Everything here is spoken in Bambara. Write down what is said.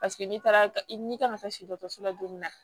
Paseke n'i taara n'i kan ka taa se so la don min na